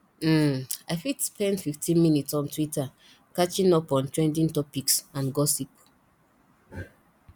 um i fit spend 15 minutes on twitter catching up on trending topics and gossip